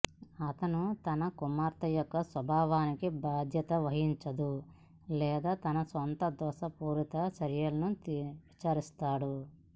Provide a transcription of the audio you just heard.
అతను తన కుమార్తె యొక్క స్వభావానికి బాధ్యత వహించదు లేదా తన సొంత దోషపూరిత చర్యలను విచారిస్తాడు